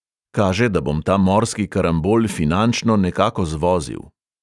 Kaže, da bom ta morski karambol finančno nekako zvozil ...